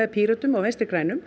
Pírötum og Vinstri grænum